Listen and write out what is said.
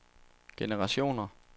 generationer